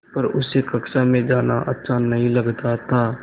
पर उसे कक्षा में जाना अच्छा नहीं लगता था